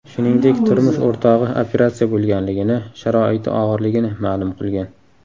Shuningdek, turmush o‘rtog‘i operatsiya bo‘lganligini, sharoiti og‘irligini ma’lum qilgan.